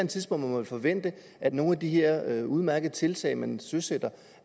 tidspunkt kunne forvente at nogle af de her udmærkede tiltag man søsætter